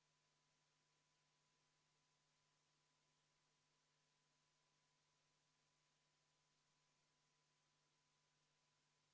Lisaks kõikidele eespool toodud argumentidele tuleb Riigikogu juhataja kaalutlusõiguse puhul lähtuda meie kodu- ja töökorra seaduse § 90 väga selgest põhimõttest, mis toob välja need, kellel on seaduse algatamise ja Riigikogu otsuse eelnõu esitamise õigus.